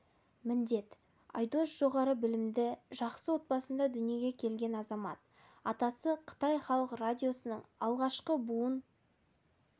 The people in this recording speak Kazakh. міндет айдос жоғары білімді жақсы отбасында дүниеге келген азамат атасы қытай халық радиосының алғашқы буын